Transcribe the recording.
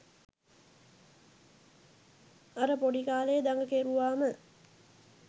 අර පොඩි කාලෙ දඟ කෙරුවාම